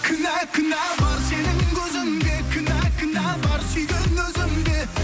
кінә кінә бар сенің көзіңде кінә кінә бар сүйген өзімде